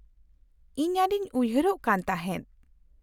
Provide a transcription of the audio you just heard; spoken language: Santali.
-ᱤᱧ ᱟᱹᱰᱤᱧ ᱩᱭᱦᱟᱹᱨᱚᱜ ᱠᱟᱱ ᱛᱟᱦᱮᱫ ᱾